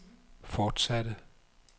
fortsatte